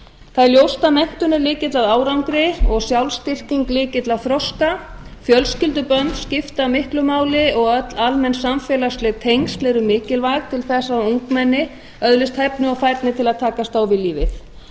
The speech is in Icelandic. það er ljóst að menntun er lykill að árangri og sjálfsstyrking lykill að þroska fjölskyldubönd skipta miklu máli og öll almenn samfélagsleg tengsl eru mikilvæg til þess að ungmenni öðlist hæfni og færni til að takast á við lífið